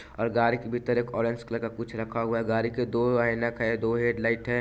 और गाड़ी के भीतर एक ऑरेंज कलर का कुछ रखा हुआ है गाड़ी के दो ऐनक है दो हेड लाइट है।